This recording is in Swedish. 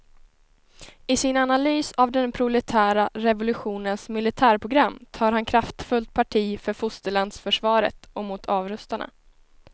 I sin analys av den proletära revolutionens militärprogram tar han kraftfullt parti för fosterlandsförsvaret och mot avrustarna.